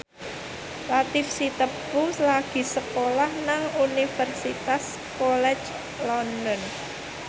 Latief Sitepu lagi sekolah nang Universitas College London